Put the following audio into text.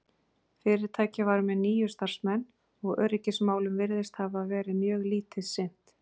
fyrirtækið var með níu starfsmenn og öryggismálum virðist hafa verið mjög lítið sinnt